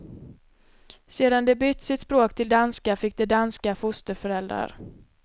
Sedan de bytt sitt språk till danska fick de danska fosterföräldrar.